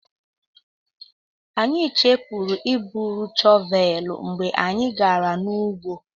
Anyị chefuru iburu shọvelụ mgbe anyị gara n'ugbo.